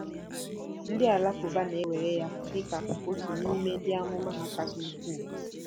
Ndị Alakụba na-ewere ya dị ka otu n'ime ndị amụma ha kasị ukwuu.